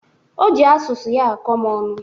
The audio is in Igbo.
O ji asụsụ ya akọ m ọnụ